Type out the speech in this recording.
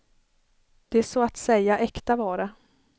De är så att säga äkta vara.